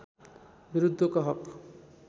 विरुद्धको हक